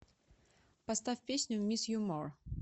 поставь песню мисс ю мор